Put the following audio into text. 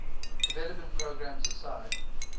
development programs aside